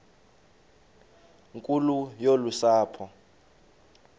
nkulu yolu sapho